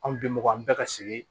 Anw bi mɔgɔ an bɛɛ ka sigi